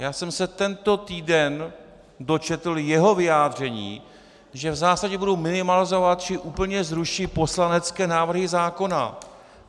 Já jsem se tento týden dočetl jeho vyjádření, že v zásadě budou minimalizovat či úplně zruší poslanecké návrhy zákona.